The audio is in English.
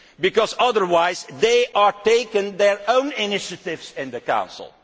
that? Because otherwise they take their own initiatives in the Council.